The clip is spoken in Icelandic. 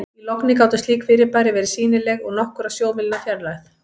í logni gátu slík fyrirbæri verið sýnileg úr nokkurra sjómílna fjarlægð